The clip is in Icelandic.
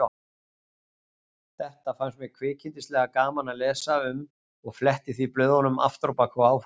Þetta fannst mér kvikindislega gaman að lesa um og fletti því blöðunum afturábak og áfram.